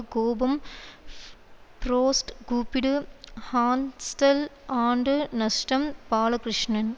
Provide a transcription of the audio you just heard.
கோபம் ஃப்ரோஸ்ட் கூப்பிடு ஹான்ஸ்டல் ஆண்டு நஷ்டம் பாலகிருஷ்ணன்